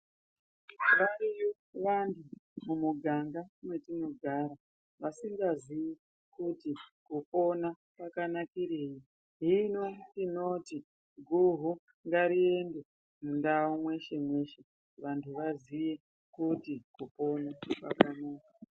Variyo vantu mumuganga mwetinogara vasikaziyi kuti kupona kwakanakirei. Hino tinoti guhu ngariende mundau mweshe mweshe kuti vantu vaziye kuti kupona kwakanaka.